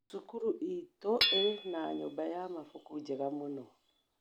Cukuru itũ ĩrĩ na nyumba ya mabuku njega mũno